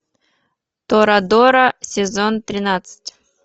торадора сезон тринадцать